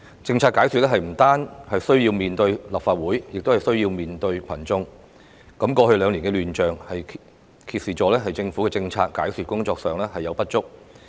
政策解說不單需要面對立法會，亦需要面對群眾。過去兩年的亂象，揭示了政府在政策解說工作上的不足。